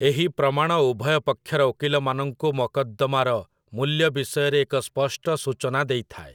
ଏହି ପ୍ରମାଣ ଉଭୟ ପକ୍ଷର ଓକିଲମାନଙ୍କୁ ମକଦ୍ଦମାର ମୂଲ୍ୟ ବିଷୟରେ ଏକ ସ୍ପଷ୍ଟ ସୂଚନା ଦେଇଥାଏ ।